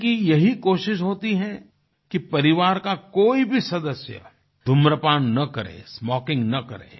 उनकी यही कोशिश होती है कि परिवार का कोई भी सदस्य धूम्रपान न करे स्मोकिंग न करे